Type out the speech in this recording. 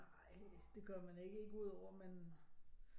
Nej det gør man ikke ikke ud over at man